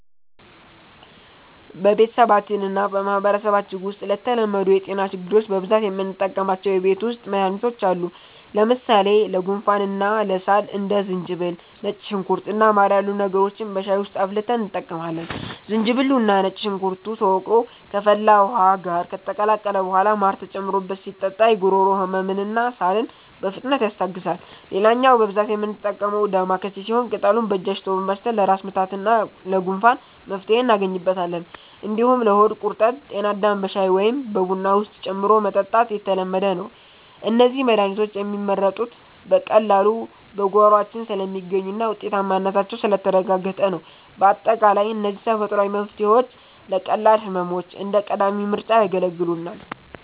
በቤተሰባችንና በማህበረሰባችን ውስጥ ለተለመዱ የጤና ችግሮች በብዛት የምንጠቀማቸው የቤት ውስጥ መድሃኒቶች አሉ። ለምሳሌ ለጉንፋንና ለሳል እንደ ዝንጅብል፣ ነጭ ሽንኩርት እና ማር ያሉ ነገሮችን በሻይ ውስጥ አፍልተን እንጠቀማለን። ዝንጅብሉና ነጭ ሽንኩርቱ ተወቅሮ ከፈላ ውሃ ጋር ከተቀላቀለ በኋላ ማር ተጨምሮበት ሲጠጣ የጉሮሮ ህመምንና ሳልን በፍጥነት ያስታግሳል። ሌላኛው በብዛት የምንጠቀመው 'ዳማከሴ' ሲሆን፣ ቅጠሉን በእጅ አሽቶ በማሽተት ለራስ ምታትና ለጉንፋን መፍትሄ እናገኝበታለን። እንዲሁም ለሆድ ቁርጠት 'ጤናዳም' በሻይ ወይም በቡና ውስጥ ጨምሮ መጠጣት የተለመደ ነው። እነዚህ መድሃኒቶች የሚመረጡት በቀላሉ በጓሯችን ስለሚገኙና ውጤታማነታቸው ስለተረጋገጠ ነው። ባጠቃላይ እነዚህ ተፈጥሯዊ መፍትሄዎች ለቀላል ህመሞች እንደ ቀዳሚ ምርጫ ያገለግሉናል።